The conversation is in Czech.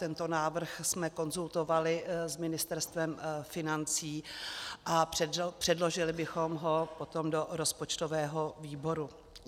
Tento návrh jsme konzultovali s Ministerstvem financí a předložili bychom ho potom do rozpočtového výboru.